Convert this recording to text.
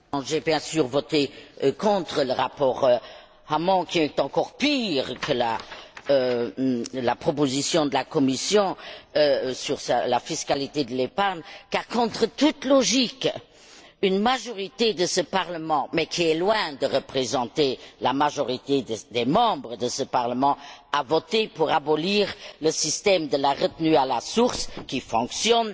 Madame la Présidente, j'ai bien sûr voté contre le rapport Hamon qui est encore pire que la proposition de la Commission sur la fiscalité de l'épargne car, contre toute logique, une majorité de ce Parlement mais qui est loin de représenter la majorité des membres de ce Parlement a voté pour abolir le système de la retenue à la source qui fonctionne,